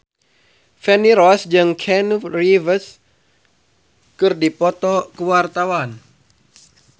Feni Rose jeung Keanu Reeves keur dipoto ku wartawan